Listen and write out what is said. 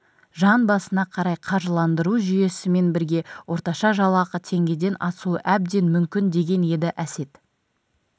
жан басына қарай қаржыландыру жүйесімен бірге орташа жалақы теңгеден асуы әбден мүмкін деген еді әсет